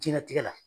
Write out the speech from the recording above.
Diɲɛnatigɛ la